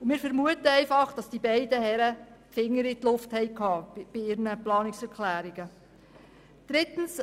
Wir vermuten, dass die beiden Herren einfach den Daumen in die Luft gehalten haben, als sie die Planungserklärungen formulierten.